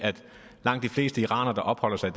langt de fleste iranere der opholder sig